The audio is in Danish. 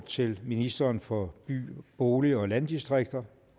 til ministeren for by bolig og landdistrikter